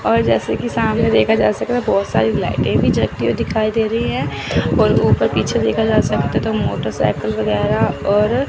और जैसे कि सामने देखा जा सकता बहुत सारी लाइटें भी जलती हुई दिखाई दे रही हैं और ऊपर पीछे देखा जा सकता दो मोटरसाइकिल वगैरा और--